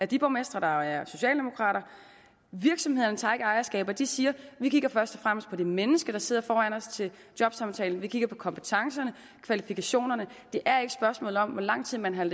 de borgmestre der er socialdemokrater virksomhederne tager ikke ejerskab de siger vi kigger først og fremmest på det menneske der sidder foran os til jobsamtalen vi kigger på kompetencerne kvalifikationerne det er ikke spørgsmålet om hvor lang tid man har